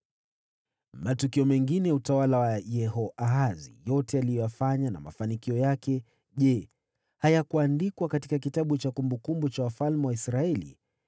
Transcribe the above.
Matukio mengine ya utawala wa Yehoahazi yote aliyoyafanya na mafanikio yake, je, hayakuandikwa katika kitabu cha kumbukumbu za wafalme wa Israeli?